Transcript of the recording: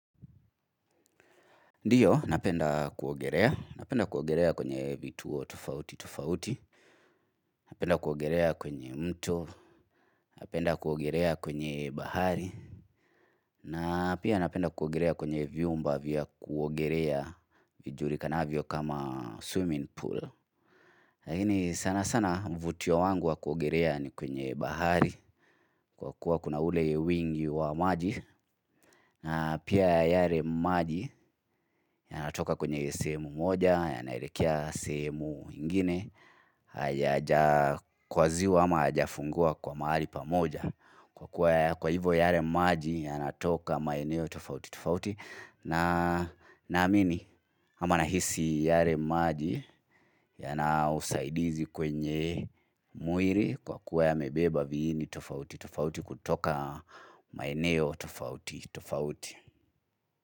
Ndiyo napenda kuogelea. Napenda kuogelea kwenye vituo tofauti tofauti. Napenda kuogelea kwenye mto. Napenda kuogerea kwenye bahari. Na pia napenda kuogelea kwenye vyumba vya kuogelea vijulikanavyo kama swimming pool. Lakini sana sana uvutio wangu wa kuogeolea ni kwenye bahari kwa kuwa kuna ule wingi wa maji na pia yale maji ya natoka kwenye sehemu moja yanaelekea sehemu ingine yajakwaziwa ama hayajafungiwa kwa mahali pa moja kwa kuwa hivo yale maji yanatoka maeneo tofauti tofauti na naamini ama nahisi yale maji yana usaidizi kwenye mwili kwa kuwa yamebeba viini tofauti tofauti kutoka maeneo tofauti tofauti.